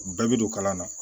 Bɛɛ bɛ don kalan na